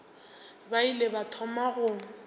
ba ile ba thoma go